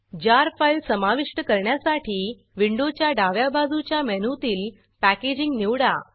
जार file समाविष्ट करण्यासाठी विंडोच्या डाव्या बाजूच्या मेनूतील पॅकेजिंग पेकेजींग निवडा